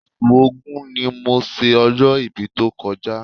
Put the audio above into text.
Oṣù Ògún ni mo ṣe ọjọ́-ibí tó kọjá